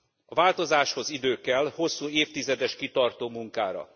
A változáshoz idő kell, hosszú évtizedes kitartó munkára.